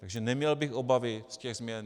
Takže neměl bych obavy z těch změn.